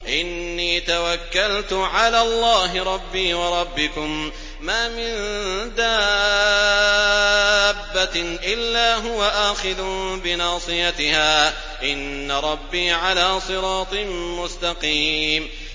إِنِّي تَوَكَّلْتُ عَلَى اللَّهِ رَبِّي وَرَبِّكُم ۚ مَّا مِن دَابَّةٍ إِلَّا هُوَ آخِذٌ بِنَاصِيَتِهَا ۚ إِنَّ رَبِّي عَلَىٰ صِرَاطٍ مُّسْتَقِيمٍ